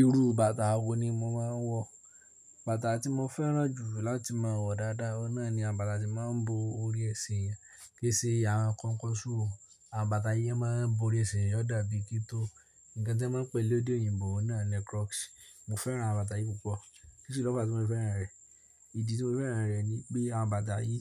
Irú bàtà wo ni mo máa ń wọ̀? Bàtà tí mo fẹ́ràn jù láti máa wọ̀ dáadáa, ọ́nà ni awon bàtà tí máa ń bo orí ẹṣe eeyan, kì í ṣe àwọn kọnkọṣú (covered shoe). Àbàtà yìí máa ń bo orí ẹṣin yọ dàbí kí tó. Ǹkan tí wọ́n ń pè lede òyìnbó náà ni crocs. Mo fẹ́ràn awon bàtà yìí púpọ̀. Kí ni ló bá ti mo fẹ́ràn rẹ̀? Ìdí tí mo fẹ́ràn rẹ̀ ni pé àbàtà yìí